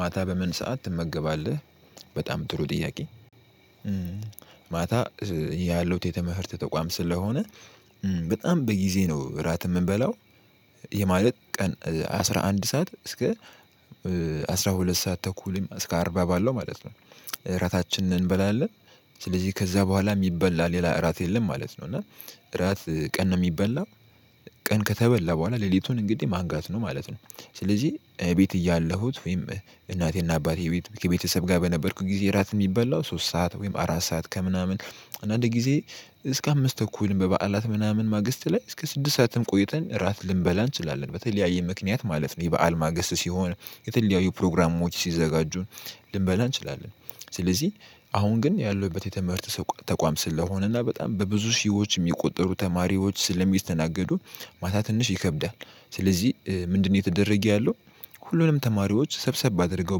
ማታ በምን ሰዓት ትመገባለህ? በጣም ጥሩ ጥያቄ ማታ ያለሁት የትምህርት ተቋም ስለሆነ በጣም በጊዜ ነው እራት የምንበላው። ይህ ማለት ቀን አስራ አንድ ሰዓት እስከ አስራ ሁለት ሰዓት ተኩልም እስከ አርባ ባለው ማለት ነው እራታችንን እንበላለን። ስለዚህ ከዛ በኋላ የሚበላ ሌላ እራት የለም ማለት ነው። እና እራት ቀን ነው የሚበላው ቀን ከተበላ በኋላ ሌሊቱን እንግዲህ ማንጋት ነው ማለት ነው። ስለዚህ ቤት እያለሁት ወይም እናቴና አባቴ ቤት ከቤተሰብ ጋር በነበርኩ ጊዜ እራት የሚበላው ሶስት ሰዓት ወይም አራት ሰዓት ከምናምን አንዳንድ ጊዜ እስከ አምስት ተኩልም በበዓላት ምናምን ማግስት ላይ እስከ ስድስት ሰዓትም ቆይተን እራት ልንበላ እንችላለን። በተለያየ ምክንያት ማለት ነው የበአል ማግስት ሲሆን፤ የተለያዩ ፕሮግራሞች ሲዘጋጁ ልንበላ እንችላለን። ስለዚህ አሁን ግን ያለሁበት የትምህርት ተቋም ስለሆነና በጣም በብዙ ሺዎች የሚቆጠሩ ተማሪዎች ስለሚስተናገዱ ማታ ትንሽ ይከብዳል። ስለዚህ ምንድነው እየተደረገ ያለው ሁሉንም ተማሪዎች ሰብሰብ አድርገው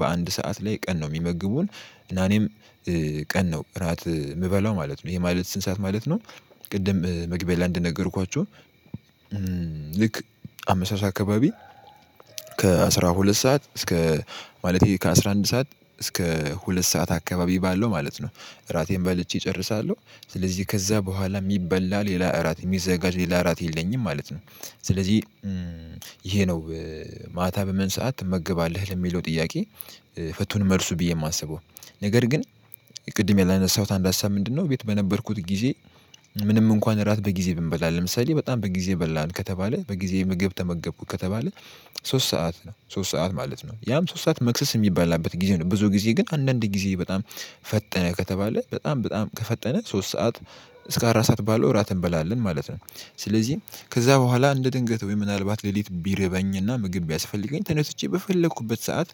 በአንድ ሰዓት ላይ ቀን ነው የሚመግቡን እና እኔም ቀን ነው እራት የምበላው ማለት ነው። ይሄ ማለት ስንት ሰዓት ማለት ነው ቅድም መግቢያ ላይ እንደነገርኳችሁ ልክ አመሻሽ አካባቢ ከአሥራ ሁለት ሰዓት እስከ ማለቴ ከአሥራ አንድ ሰዓት እስከ ሁለት ሰዓት አካባቢ ባለው ማለት ነው እራቴን በልቼ እጨርሳለሁ። ስለዚህ ከዛ በኋላ የሚበላ ሌላ እራት የሚዘጋጅ ሌላ እራት የለኝም ማለት ነው። ስለዚህ ነው ማታ በምን ሰዓት ትመገባለህ? ለሚለው ጥያቄ ፍቱን መልሱ ብዬ የማስበው። ነገር ግን ቅድም ያላነሳሁት አንድ ሀሳብ ምንድነው ቤት በነበርኩት ጊዜ ምንም እንኳን እራት በጊዜ ብንበላ ለምሳሌ በጣም በጊዜ በላን ከተባለ በጊዜ ምግብ ተመገብኩ ከተባለ ሶስት ሰዓት ነው ሶስት ሰዓት ማለት ነው። ያም ሶስት ሰዓት መክሰስ የሚበላበት ጊዜ ነው ብዙ ጊዜ ግን አንዳንድ ጊዜ በጣም ፈጠነ ከተባለ በጣም በጣም ከፈጠነ ሶስት ሰዓት እስከ አራት ሰዓት ባለው እራት እንበላለን ማለት ነው። ስለዚህ ከዛ በኋላ እንደ ድንገት ወይ ምናልባት ሌሊት ቢርበኝና ምግብ ቢያስፈልገኝ ተነስቼ በፈለኩበት ሰዓት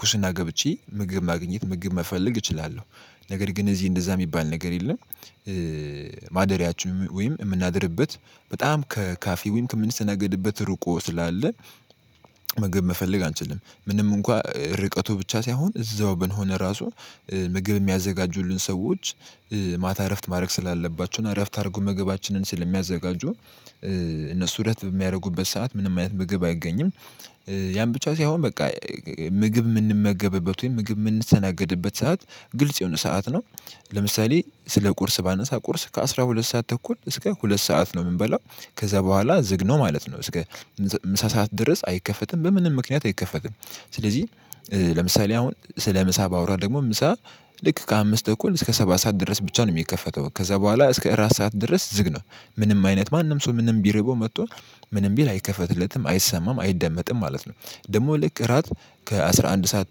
ኩሽና ገብቼ ምግብ ማግኘት ምግብ መፈለግ እችላለሁ። ነገር ግን እዚህ እንደዛ የሚባል ነገር የለም። ማደሪያችን ወይም የምናድርበት በጣም ከካፌ ወይም ከምንስተናገድበት ርቆ ስላለ ምግብ መፈለግ አንችልም። ምንም እንኳን ርቀቱ ብቻ ሳይሆን እዛው ብንሆን ራሱ ምግብ የሚያዘጋጁልን ሰዎች ማታ እረፍት ማድረግ ስላለባቸው እና እረፍት አድርገው ምግባችንን ስለሚያዘጋጁ እነሱ እረፍት በሚያደርጉበት ሰዓት ምንም አይነት ምግብ አይገኝም። ያም ብቻ ሳይሆን በቃ ምግብ የምንመገብበት ወይም ምግብ የምንስተናገድበት ሰዓት ግልጽ የሆነ ሰዓት ነው። ለምሳሌ ስለ ቁርስ ባነሳ ቁርስ ከአሥራ ሁለት ሰዓት ተኩል እስከ ሁለት ሰዓት ነው የምንበላው። ከዛ በኋላ ዝግ ነው ማለት ነው። እስከ ምሳ ሰዓት ድረስ አይከፈትም በምንም ምክንያት አይከፈትም። ስለዚህ ለምሳሌ አሁን ስለ ምሳ ባወራ ደግሞ ምሳ ልክ ከአምስት ተኩል እስከ ሰባት ሰዓት ድረስ ብቻ ነው የሚከፈተው። ከዛ በኋላ እስከ እራት ሰዓት ድረስ ዝግ ነው። ምንም አይነት ማንም ሰው ምንም ቢርበው መጥቶ ምንም ቢል አይከፈትለትም አይሰማም አይደመጥም ማለት ነው። ደግሞ ልክ እራት ከአሥራ አንድ ሰዓት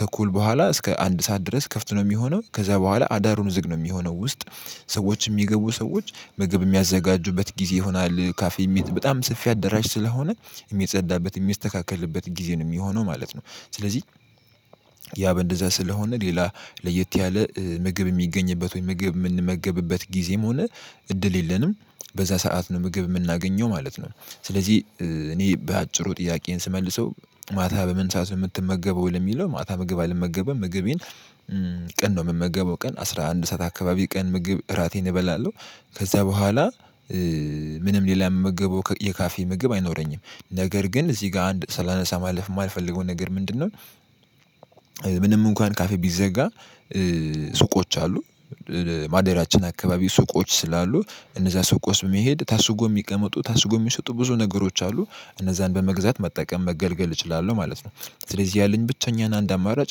ተኩል በኋላ እስከ አንድ ሰዓት ድረስ ክፍት ነው የሚሆነው። ከዛ በኋላ አዳሩን ውዝቅ ነው የሚሆነው ውስጥ። ሰዎች የሚገቡ ሰዎች ምግብ የሚያዘጋጁበት ጊዜ ይሆናል ካፌ ሜት በጣም ሰፊ አደራሽ ስለሆነ የሚጸዳበት የሚስተካክልበት ጊዜ ነው የሚሆነው ማለት ነው። ስለዚህ ያ በእንደዛ ስለሆነ ሌላ ለየት ያለ ምግብ የሚገኝበት ወይ ምግብ የምንመገብበት ጊዜም ሆነ እድል የለንም። በዛ ሰዓት ነው ምግብ የምናገኘው ማለት ነው። ስለዚህ እኔ በአጭሩ ጥያቄዬን ስመልሰው ማታ በምን ሰዓት ነው የምትመገበው? ለሚለው ማታ ምግብ አልመገብም ምግቤን ቀን ነው የምመገበው ቀን አስራ አንድ ሰዓት አካባቢ ቀን ምግብ እራቴን እበላለሁ ከዛ በኋላ ምንም ሌላ የምመገበው የካፌ ምግብ አይኖረኝም። ነገር ግን እዚህ ጋር አንድ ሳላነሳ ማለፍ የማልፈልገው ነገር ምንድነው ምንም እንኳን ካፌ ቢዘጋ ሱቆች አሉ ማደሪያችን አካባቢ ሱቆች ስላሉ እነዛ ሱቆች በመሄድ ታሽገው የሚቀመጡ ታሽገው የሚሸጡ ብዙ ነገሮች አሉ። እነዛን በመግዛት መጠቀም መገልገል እችላለሁ ማለት ነው። ስለዚህ ያለኝ ብቸኛና አንድ አማራጭ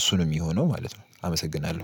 እሱ ነው የሚሆነው ማለት ነው። አመሰግናለሁ።